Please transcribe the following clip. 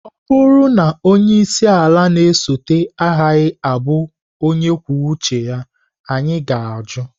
Ọ bụrụ na onye isi ala na-esote agaghị abụ onye kwuo uche anyị ga-ajụ!